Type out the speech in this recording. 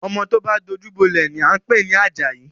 Ọmọ tó bá dojú bọ́lẹ̀ ni à ń pè ní Àjàyí